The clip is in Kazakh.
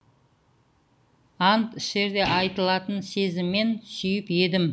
ант ішерде айтылатын сезіммен сүйіп едім